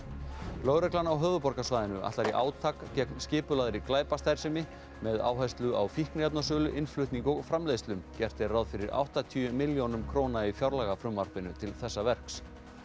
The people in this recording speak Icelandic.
lögreglan á höfuðborgarsvæðinu ætlar í átak gegn skipulagðri glæpastarfsemi með áherslu á fíkniefnasölu innflutning og framleiðslu gert er ráð fyrir áttatíu milljónum króna í fjárlagafrumvarpinu til þessa verks